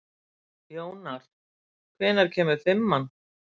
Jónar, hvenær kemur fimman?